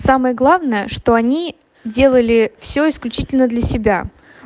самое главное что они делали все исключительно для себя